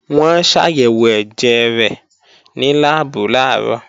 Wọ́n ṣàyẹ̀wò ẹ̀jẹ̀ rẹ̀ ní láàbù làárọ̀